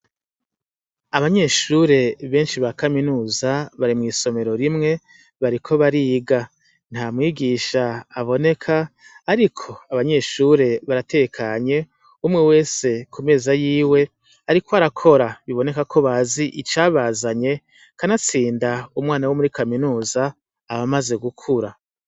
Abanyeshure benshi ba kaminuza bari mw'isomero rimwe bariko bariga; ntamwigisha aboneka ariko abanyeshuri baratekanye umwe wese kumeza yiwe ariko arakora bibonekako bazi icabazanye. Kanatsinda umwana womuri kaminuza abamaze gukura.